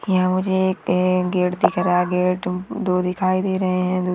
यहाँ मुझे एक गेट दिख रहा है गेट दो दिखाय दे रहे है।